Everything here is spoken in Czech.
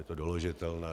Je to doložitelné.